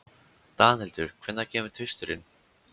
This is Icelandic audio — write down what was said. Danhildur, hvenær kemur tvisturinn?